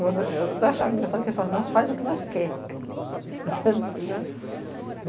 Eu estou achando engraçado que eles falam, nós fazemos o que nós queremos aqui.